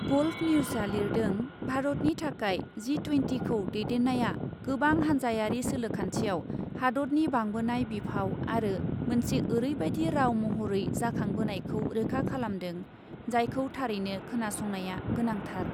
Golf निउजआ लिरदों, भारतनि थाखाय जि ट्वेन्टिखौ दैदेन्नाया गोबां हान्जायारि सोलोखान्थियाव हादतनि बांबोनाय बिफाव आरो मोनसे ओरैबायदि राव महरै जाखांबोनायखौ रोखा खालामदों, जायखौ थारैनो खोनासंनाया गोनांथार ।